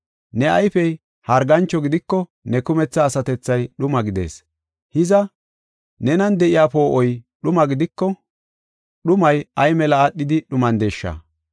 Ne ayfey hargancho gidiko ne kumetha asatethay dhuma gidees. Hiza, nenan de7iya poo7oy dhuma gidiko, dhumay ay mela aadhidi dhumandeesha!